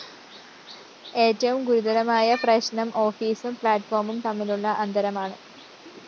ഏറ്റവും ഗുരുതരമായ പ്രശ്‌നം ഓഫീസും പ്ലാറ്റ്‌ഫോമും തമ്മിലുള്ള അന്തരമാണ്